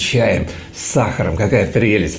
чаем с сахаром какая прелесть